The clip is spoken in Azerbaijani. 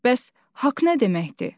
Bəs haqq nə deməkdir?